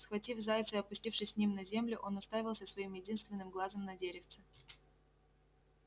схватив зайца и опустившись с ним на землю он уставился своим единственным глазом на деревце